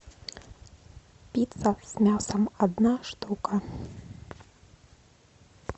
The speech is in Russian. пицца с мясом одна штука